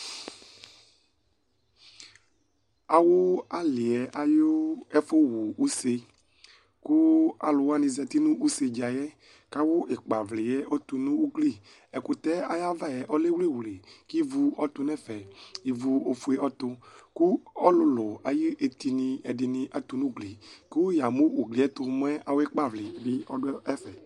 Awu ali yɛ ayu ɛfuwu use Ku aluwani za uti nu use dza yɛ Ku awu ikpavli yɛ ɔtu nu ugli Ɛkutɛ ayu ava yɛ ɔlɛ wliwli Ku ivu ɔdu nu ɛfɛ Ivu ɔfue ɔtu Ku ɔlulu ayu etini ɛdini atu nu ugli Ku yamu ugli yɛ ɛtu mɛ awu ikpavli yɛ ɔdu ɛfɛ